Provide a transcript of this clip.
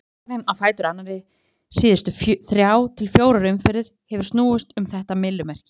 Hver fyrirsögnin á fætur annarri síðustu þrjár til fjórar umferðir hefur snúist um þetta myllumerki.